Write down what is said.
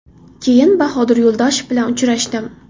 Keyin Bahodir Yo‘ldoshev bilan uchrashdim.